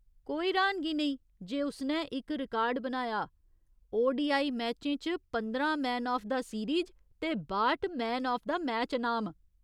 कोई र्‌हानगी नेईं जे उसने इक रिकार्ड बनाया, ओडीआई मैचें च पंदरां मैन आफ द सीरीज ते बाह्‌ट मैन आफ द मैच अनाम।